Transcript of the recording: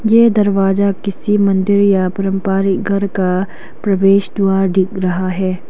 ये दरवाजा किसी मंदिर या परम्पारी घर का प्रवेश द्वार दिख रहा है।